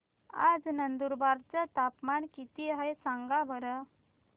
आज नंदुरबार चं तापमान किती आहे सांगा बरं